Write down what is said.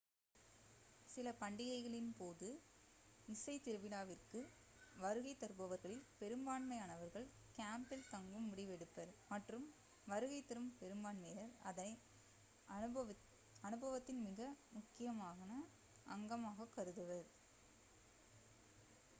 சில பண்டிகைகளின் போது இசை திருவிழாவிற்கு வருகை தருபவர்களில் பெரும்பான்மையானவர்கள் கேம்பில் தங்கும் முடிவெடுப்பர் மற்றும் வருகை தரும் பெரும்பான்மையினர் அதை அனுபவத்தின் மிக முக்கியமான அங்கமாக கருதுவர்